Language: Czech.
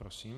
Prosím.